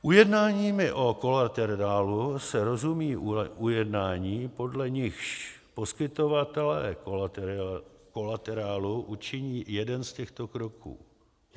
Ujednáními o kolaterálu se rozumí ujednání, podle nichž poskytovatelé kolaterálu učiní jeden z těchto kroků.